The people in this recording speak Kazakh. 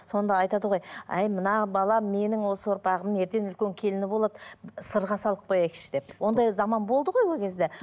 сонда айтады ғой әй мына балам менің осы ұрпағымның ертең үлкен келіні болады сырға салып қояйықшы деп ондай заман болды ғой ол кезде